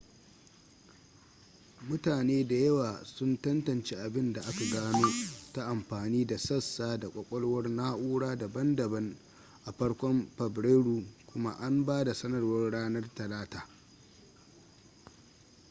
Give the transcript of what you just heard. mutane da yawa sun tantance abin da aka gano ta amfani da sassa da kwakwalwar na'ura daban-daban a farkon fabrairu kuma an ba da sanarwar ranar talata